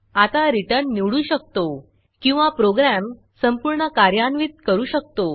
आता returnरिटर्न निवडू शकतो किंवा प्रोग्रॅम संपूर्ण कार्यान्वित करू शकतो